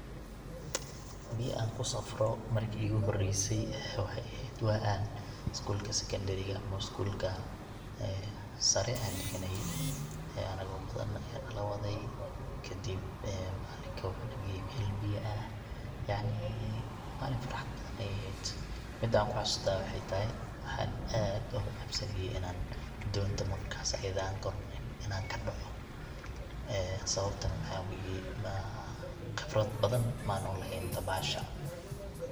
biya an kusafro marki igu horeysa waxay ehed waa an isgulka sekondariga ama isgulka saare an dhiganaye ee anago badan aya nala waday, kadib macalinka wuxuu nageeye mel biya ah yacnii malin farxad leh ayay ehed, midan kuxasuusto aya waxay tahay waxan aad oga cabsanaye donda markas ayade an koro inan kadhoco ee sababta maxa weye ee qibrad badan man uleheen dabasha